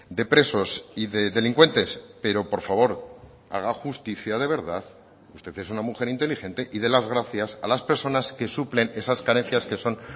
de presos y de delincuentes pero por favor haga justicia de verdad usted es una mujer inteligente y dé las gracias a las personas que suplen esas carencias que son